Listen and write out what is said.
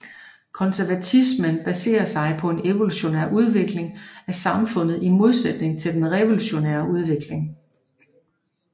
Konservatismen baserer sig på en evolutionær udvikling af samfundet i modsætning til en revolutionær udvikling